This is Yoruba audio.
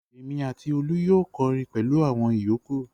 Èmi àti Olú yóò kọrin pẹ̀lú àwọn ìyókù.